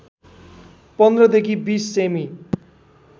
१५ देखि २० सेमी